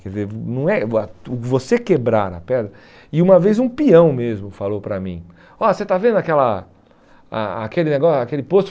Quer dizer, não é você quebrar a pedra... E uma vez um peão mesmo falou para mim, ó, você está vendo aquela a a aquele negó, aquele posto?